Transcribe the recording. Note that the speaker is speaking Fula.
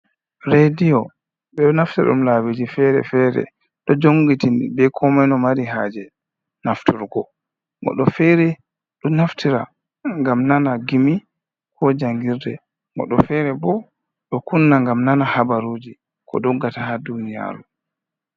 Rediyo ɓe naftira ɗum labiji fere-fere, ɗo jongitiri be ko moi ko mari haaje nafturgo, goɗɗo fere don naftira gam nana giimi ko jangirde, goɗɗo fere bo ɗo kunna ngam nana habarujii ko doggata ha duniyaru.